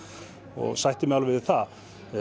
og sætti mig alveg við það